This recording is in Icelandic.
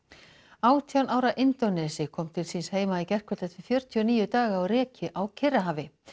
átján ára kom til síns heima í gærkvöld eftir fjörutíu og níu daga á reki á Kyrrahafi